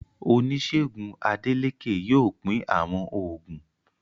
Oníṣègùn Adélékè yóò pín àwọn oògùn.